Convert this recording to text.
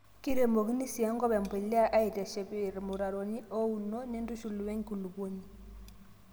kiremokini sii enkop embuliya aiteshep irmutaroni ouno nintushul we nkulupuoni